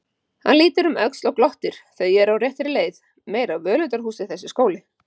Hann lítur um öxl og glottir, þau eru á réttri leið, meira völundarhúsið þessi skóli!